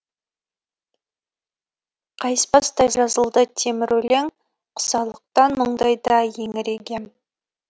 қайыспастай жазылды темір өлең құсалықтан мұндайда еңірегем